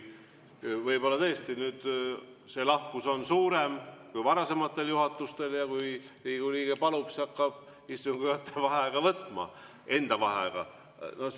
Võib-olla tõesti nüüd see lahkus on suurem kui varasematel juhatustel ja kui Riigikogu liige palub, siis hakkab istungi juhataja enda nimel vaheaega võtma.